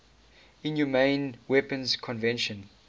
inhumane weapons convention